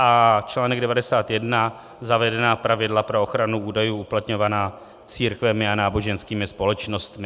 A čl. 91 - zavedená pravidla pro ochranu údajů uplatňovaná církvemi a náboženskými společnostmi.